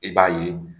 I b'a ye